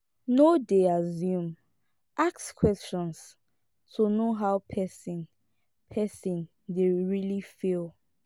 no dey assume ask questions to know how person person dey really feel